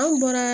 An bɔra